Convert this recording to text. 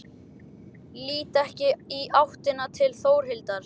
Lít ekki í áttina til Þórhildar.